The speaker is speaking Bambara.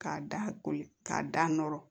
K'a da koli k'a da nɔrɔ